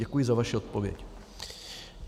Děkuji za vaši odpověď.